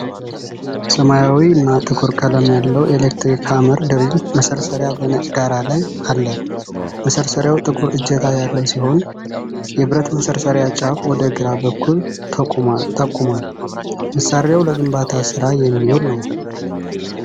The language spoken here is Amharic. ሰማያዊና ጥቁር ቀለም ያለው ኤሌክትሪክ ሃመር ድሪል (መሰርሰሪያ) በነጭ ዳራ ላይ አለ። መሰርሰሪያው ጥቁር እጀታ ያለው ሲሆን፣ የብረት መሰርሰሪያ ጫፍ ወደ ግራ በኩል ተጠቁሟል። መሣሪያው ለግንባታ ስራ የሚውል ነው።